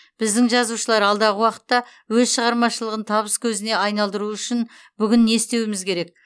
біздің жазушылар алдағы уақытта өз шығармашылығын табыс көзіне айналдыруы үшін бүгін нені істеуіміз керек